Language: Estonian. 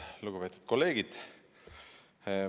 Lugupeetud kolleegid!